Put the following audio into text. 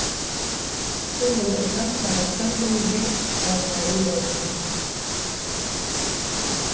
бұл оның ұзақ сағаттар бойы жер қазғанын дәлелдейді